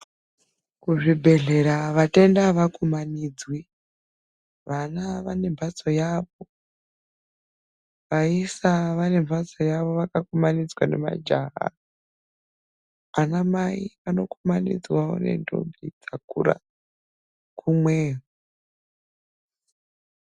Kuzvibhedhlera vatenda avakumanidzwi, vana vane mbatso yavo ,vaisa vanembatso yavo vakakumanidzwa nemajaha, ana mai vanokumanidzwawo nendombi dzakakura kumweyo.